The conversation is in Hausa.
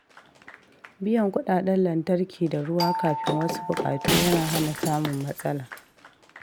Biyan kuɗaɗen lantarki da ruwa kafin wasu buƙatu yana hana samun matsala.